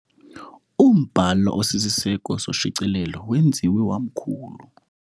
Umbhalo osisiseko soshicilelo wenziwe wamkhulu.